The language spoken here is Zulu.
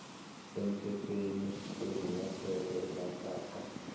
semthethweni kwezinyathelo ezathathwa